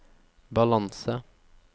balanse